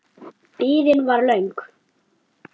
Biðin var löng.